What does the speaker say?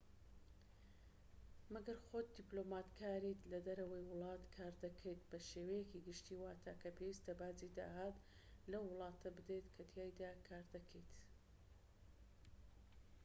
مەگەر خۆت دیبلۆماتکاریت لە دەرەوەی وڵات کار دەکەیت بە شێوەیەکی گشتی واتە کە پێویستە باجی داهات لەو وڵاتە بدەیت کەتیایدا کار دەکەیت